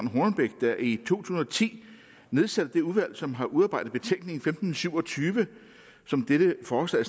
hornbech der i tusind og ti nedsatte det udvalg som har udarbejdet betænkning femten syv og tyve som dette forslag